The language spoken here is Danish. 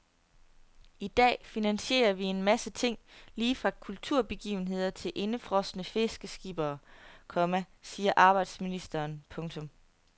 I dag finansierer vi en masse ting lige fra kulturbegivenheder til indefrosne fiskeskippere, komma siger arbejdsministeren. punktum